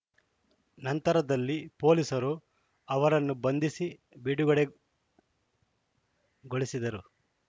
ನಂತರದಲ್ಲಿ ಪೊಲೀಸರು ಅವರನ್ನು ಬಂಧಿಸಿ ಬಿಡುಗಡೆಗೊಳಿಸಿದರು